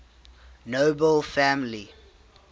nobel family